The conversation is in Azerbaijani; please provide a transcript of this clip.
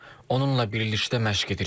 Onunla birlikdə məşq edirik.